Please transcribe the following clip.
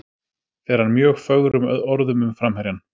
Fer hann mjög fögrum orðum um framherjann.